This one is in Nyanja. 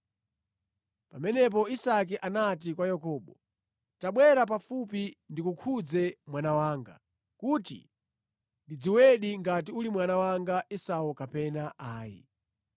Pamenepo Isake anati kwa Yakobo, “Tabwera pafupi ndikukhudze mwana wanga, kuti ndidziwedi ngati uli mwana wanga Esau kapena ayi.”